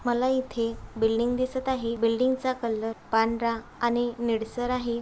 मला इथे बिल्डिंग दिसत आहे बिल्डिंगचा कलर पांढरा आणि निळसर आहे.